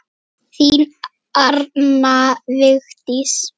Þín Arna Vigdís.